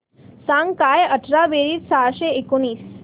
सांग काय अठरा बेरीज सहाशे एकोणीस